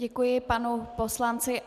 Děkuji panu poslanci.